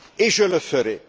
Et je le ferai.